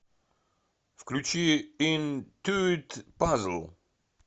включи интуит пазл